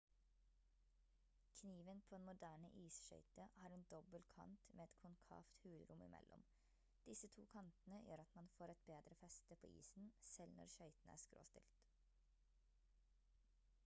kniven på en moderne isskøyte har en dobbel kant med et konkavt hulrom i mellom disse to kantene gjør at man får et bedre feste på isen selv når skøytene er skråstilt